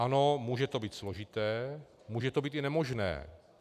Ano, může to být složité, může to být i nemožné.